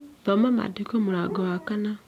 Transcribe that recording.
Thoma mandiko mũrango wa kana